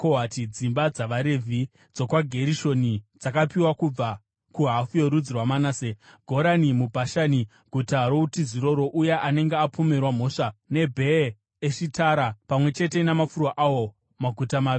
Dzimba dzavaRevhi dzokwaGerishoni dzakapiwa: kubva kuhafu yorudzi rwaManase, Gorani muBhashani (guta routiziro rouya anenge apomerwa mhosva yokuponda munhu) neBhe Eshitara, pamwe chete namafuro awo, maguta maviri;